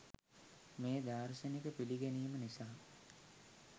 මේ දාර්ශනික පිළිගැනීම නිසා